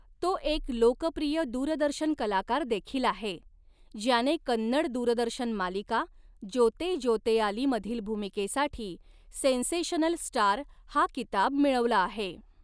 तो एक लोकप्रिय दूरदर्शन कलाकार देखील आहे, ज्याने कन्नड दूरदर्शन मालिका 'जोते जोतेयाली' मधील भूमिकेसाठी 'सेन्सेशनल स्टार' हा किताब मिळवला आहे..